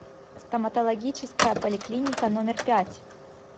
стоматологическая поликлиника номер пять